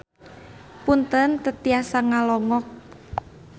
Punten teu tiasa ngalongok.